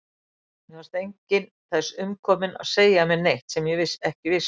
Mér fannst enginn þess umkominn að segja mér neitt sem ég ekki vissi.